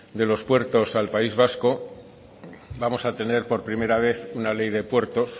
de los puertos al país vasco vamos a tener por primera vez una ley de puertos